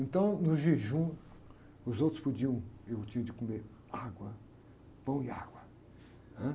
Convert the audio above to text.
Então, no jejum, os outros podiam, eu tinha de comer água, pão e água, né?